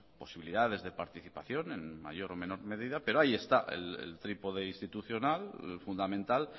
posibilidades de participación en mayor o menor medida pero ahí está el trípode institucional fundamental